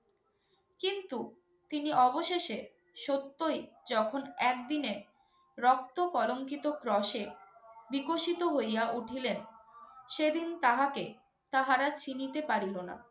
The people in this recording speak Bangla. কিন্তু তিনি অবশেষে সত্যই যখন একদিনে রক্ত কলংকিত ক্রশে বিকশিত হইয়া উঠিলেন সেদিন তাহাকে তাহারা চিনিতে পারিল না।